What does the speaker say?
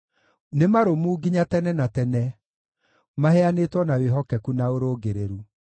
Nĩ marũmu nginya tene na tene, maheanĩtwo na wĩhokeku na ũrũngĩrĩru.